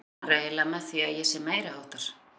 Hvað meinarðu eiginlega með því að ég sé meiriháttar.